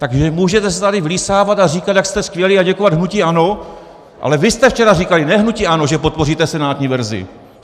Takže můžete se tady vlísávat a říkat, jak jste skvělí, a děkovat hnutí ANO, ale vy jste včera říkali, ne hnutí ANO, že podpoříte senátní verzi.